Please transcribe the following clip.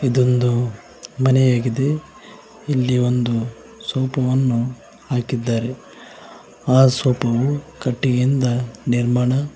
ಇದೊಂದು ಮನೆ ಆಗಿದೆ ಇಲ್ಲಿ ಒಂದು ಸೋಫಾ ವನ್ನು ಹಾಕಿದ್ದಾರೆ ಆ ಸೋಫ ವು ಕಟ್ಟಿಗೆಯಿಂದ ನಿರ್ಮಾಣ--